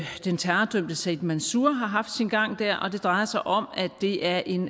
den terrordømte said mansour har haft sin gang der og det drejer sig om at det er en